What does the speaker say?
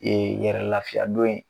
Ee yɛrɛ lafiyadon ye